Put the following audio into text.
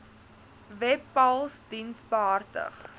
webpals diens behartig